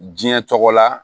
Diɲɛ tɔgɔla